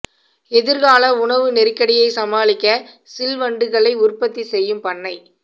எதிர்கால உணவு நெருக்கடியை சமாளிக்க சில் வண்டுகளை உற்பத்தி செய்யும் பண்ணை